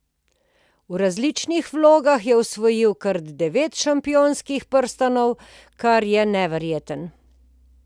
V različnih vlogah je osvojil kar devet šampionskih prstanov, kar je neverjetno.